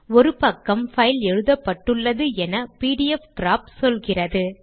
ஒரு பக்கம் பைல் எழுதப்பட்டுள்ளது என பிடிஎஃப்கிராப் சொல்கிறது